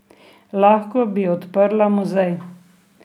Lahko bi odprla muzej.